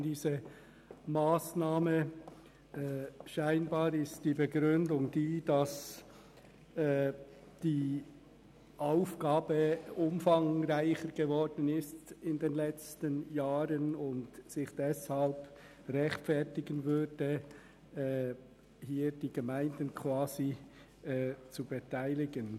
Anscheinend lautet die Begründung, in den letzten Jahren sei die Aufgabe umfangreicher geworden und deshalb sei es gerechtfertigt, die Gemeinden zu beteiligen.